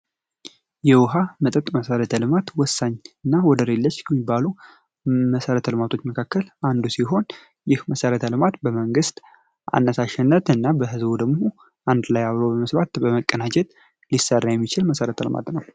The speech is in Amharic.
የውሃ መጠጥ መሠረተ ልማት ወሳኝና መሰረት መብቶች መካከል አንዱ ሲሆን ይህ መሰረተ ልማት በመንግ ስት አሸነፍ እና በህዝቡ ደግሞ ሊሰራ የሚችል መሰረት ልማት ነዉ።